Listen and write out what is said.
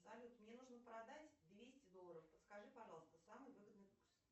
салют мне нужно продать двести долларов подскажи пожалуйста самый выгодный курс